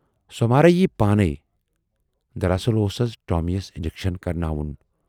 "سۅ مہراہ یِیہِ پانے، دراصل اوس اَز ٹامی یَس انجکشن کَرٕناوُن۔